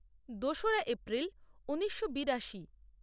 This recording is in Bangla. দোসরা এপ্রিল ঊনিশো বিরাশি